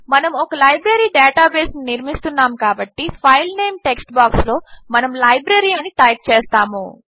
మనము ఒక లైబ్రరీ డేటాబేస్ను నిర్మిస్తున్నాము కాబట్టి ఫైల్ నేమ్ టెక్స్ట్ బాక్స్లో మనము లైబ్రరీ అని టైప్ చేస్తాము